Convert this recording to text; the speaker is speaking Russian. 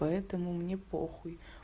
поэтому мне похуй